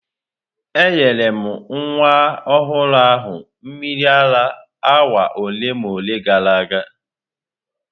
Enyere m nwa ọhụrụ ahụ mmiri ara awa ole na ole gara aga.